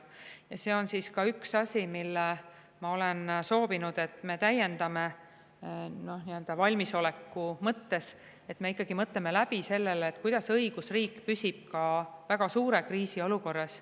Ja see on ka üks asi, mida ma olen soovinud, et me täiendame valmisoleku mõttes, et me mõtleme läbi, kuidas õigusriik püsib ka väga suure kriisi olukorras.